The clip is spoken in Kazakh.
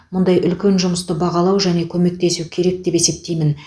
мұндай үлкен жұмысты бағалау және көмектесу керек деп есептеймін